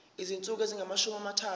izinsuku ezingamashumi amathathu